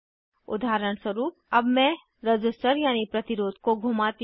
उदाहरणस्वरूप अब मैं रज़िस्टर यानी प्रतिरोध को घुमाती हूँ